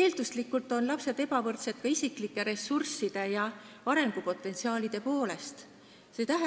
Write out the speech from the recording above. Eelduslikult on lapsed ebavõrdsed ka isiklike ressursside ja arengupotentsiaali poolest, st